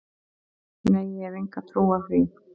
Nei, ég hef enga trú á því.